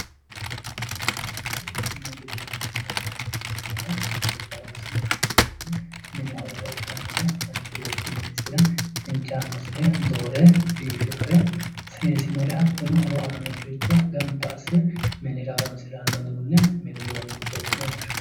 Mini uduunneeti yinanniri mini giddo horonsi'nannire ikko gobba horonsi'nannire mini horora ikkannore manchi beetti minisira injaannosire doore biifinore seesinore hattono horo aannosire gamba asse mini horora hosannore mini uduunnichooti yine woshshinanni